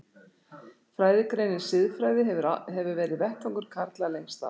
Fræðigreinin siðfræði hefur verið vettvangur karla lengst af.